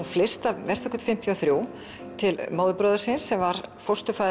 flyst að Vesturgötu fimmtíu og þrjú til móðurbróður síns sem var